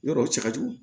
Yɔrɔw cɛ ka jugu